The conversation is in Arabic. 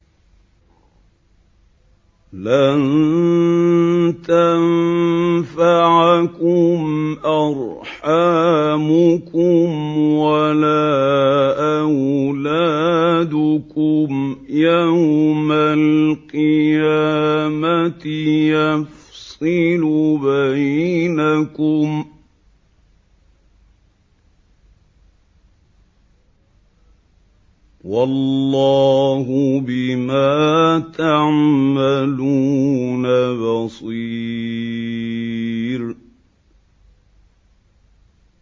لَن تَنفَعَكُمْ أَرْحَامُكُمْ وَلَا أَوْلَادُكُمْ ۚ يَوْمَ الْقِيَامَةِ يَفْصِلُ بَيْنَكُمْ ۚ وَاللَّهُ بِمَا تَعْمَلُونَ بَصِيرٌ